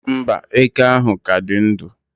mba, eke ahụ ka dị ndụ